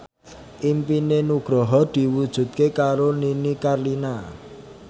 impine Nugroho diwujudke karo Nini Carlina